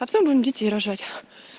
а потом будем детей рожать